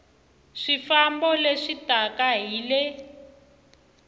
swifambo leswi taka hi le